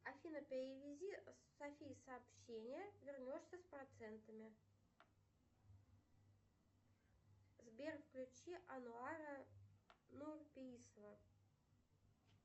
афина перевези софии сообщение вернешься с процентами сбер включи ануара нурпеисова